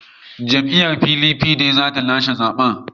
Jam’iyyar PDP ce za ta lashe zaben.